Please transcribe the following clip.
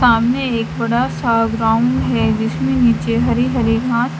सामने एक बड़ा सा ग्राउंड है जिसमे नीचे हरी हरी घास--